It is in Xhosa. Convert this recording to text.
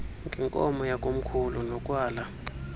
ngenkomo yakomkhulu nokwala